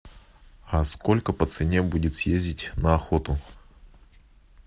а сколько по цене будет съездить на охоту